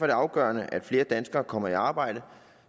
det afgørende at flere danskere kommer i arbejde